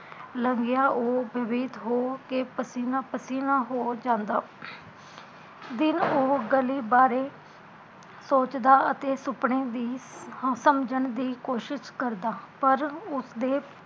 ਲੰਘਿਆ ਉਹ ਬੈਭੀਤ ਹੋ ਗਿਆ ਪਸੀਨਾ ਪਸੀਨਾ ਹੋ ਜਾਂਦਾ, ਦਿਲ ਉਹ ਗਲੀ ਬਾਰੇ ਸੋਚਦਾ ਅਤੇ ਸੁਪਨੇ ਵੀ ਹਾ ਸਮਜਣ ਦੀ ਕੋਸ਼ਿਸ਼ ਕਰਦਾ ਪਰ ਉਸਦੇ